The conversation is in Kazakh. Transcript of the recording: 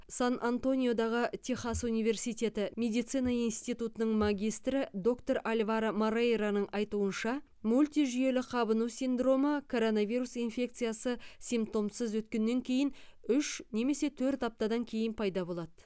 сан антониодағы техас университеті медицина институтының магистрі доктор альваро морейроның айтуынша мультижүйелі қабыну синдромы коронавирус инфекциясы симптомсыз өткеннен кейін үш немесе төрт аптадан кейін пайда болады